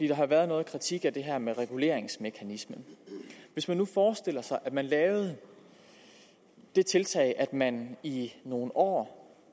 der har været kritik af det her med reguleringsmekanismen hvis man nu forestillede sig at man lavede det tiltag at man i nogle år